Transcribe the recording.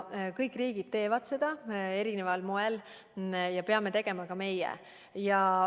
Kõik riigid teevad seda erineval moel ja peame kuidagi tegema ka meie.